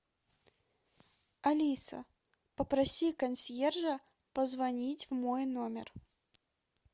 алиса попроси консьержа позвонить в мой номер